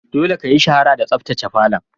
Dolle ka yi shara da sabtace falon!